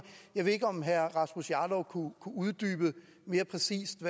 jeg ved ikke om herre rasmus jarlov mere præcist